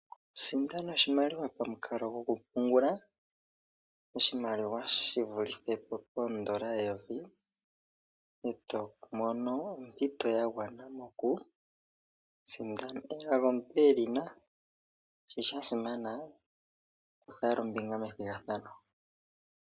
Sindana oshimaliwa pamukalo gokupungula oshimaliwa shivulithe po poondola eyovi, e to mono ompito ya gwana yoku sindana. Elago omuntu e li na, shi sha simana, kutha owala ombinga methigathano.